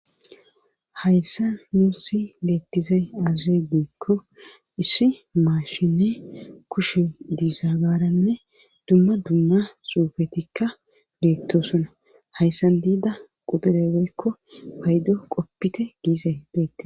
hayssa nusi beettizay azze gekko issi maashine kushe diizagaaranne dumma dumma suufetikka beettosona hayssan diida quxure woykko paydo qoppite giizey beette